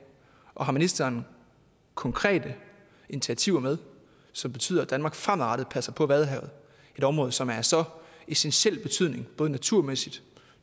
og har ministeren konkrete initiativer med som betyder at danmark fremadrettet passer på vadehavet et område som er af så essentiel betydning både naturmæssigt